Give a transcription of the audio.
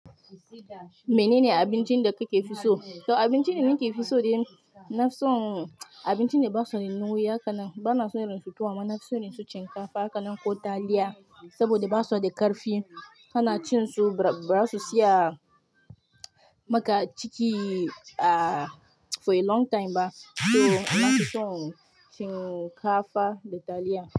Menene abincin da kike fi so? To abincin da nake fi so dai, ina son abincin da ba su da nauwi haka nan. Ba na son na ci tuwo, amma na fi son in ci shinkafa haka nan ko taliya, saboda ba su da ƙarfi. Kana cin su ba za su tsaya maka a ciki, ah, for a long time ba. To amma nafi son shinkafa da taliya.